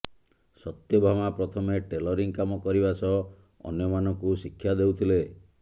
ସତ୍ୟଭାମା ପ୍ରଥମେ ଟେଲରିଂ କାମ କରିବା ସହ ଅନ୍ୟମାନଙ୍କୁ ଶିକ୍ଷା ଦେଉଥିଲେ